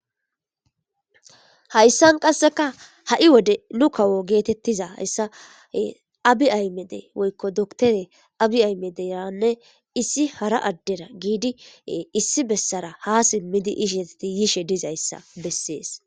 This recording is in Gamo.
hayssan qasseka ha'i wode nu kawo geetettiza hayssa abi aymede woykko doktere abi aymederanne issi hara addera giidi issi bessara ha simmidi izesti yishe dizayssa bessees